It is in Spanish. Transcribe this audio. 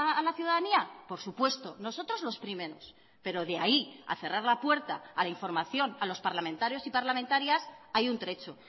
a la ciudadanía por supuesto nosotros los primeros pero de ahí a cerrar la puerta a la información a los parlamentarios y parlamentarias hay un trecho